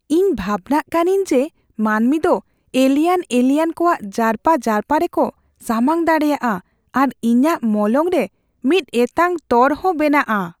ᱤᱧ ᱵᱷᱟᱵᱱᱟᱜ ᱠᱟᱹᱱᱟᱹᱧ ᱡᱮ ᱢᱟᱹᱱᱢᱤ ᱫᱚ ᱮᱞᱤᱭᱮᱱ ᱮᱞᱤᱭᱮᱱ ᱠᱚᱣᱟᱜ ᱡᱟᱨᱯᱟ ᱡᱟᱨᱯᱟ ᱨᱮᱠᱚ ᱥᱟᱢᱟᱝ ᱫᱟᱲᱮᱭᱟᱜᱼᱟ ᱟᱨ ᱤᱧᱟᱹᱜ ᱢᱚᱞᱚᱝᱨᱮ ᱢᱤᱫ ᱮᱛᱟᱝ ᱛᱚᱨ ᱦᱚᱸ ᱵᱮᱱᱟᱜᱼᱟ ᱾